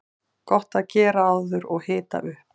Gott að gera áður og hita upp.